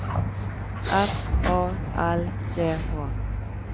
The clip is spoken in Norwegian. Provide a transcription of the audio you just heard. F A L C H